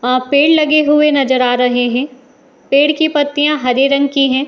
आ पेड़ लगे हुए नजर आ रहे हैं | पेड़ की पत्तियाँ हरे रंग की हैं |